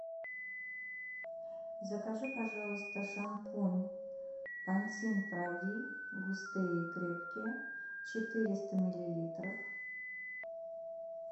закажи пожалуйста шампунь пантин прови густые и крепкие четыреста миллилитров